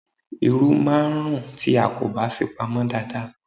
Irú máà ń rún tí a kò bá fi pamô dada.